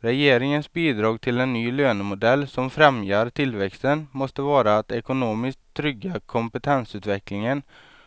Regeringens bidrag till en ny lönemodell som främjar tillväxten måste vara att ekonomiskt trygga kompetensutvecklingen